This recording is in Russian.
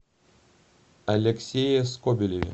алексее скобелеве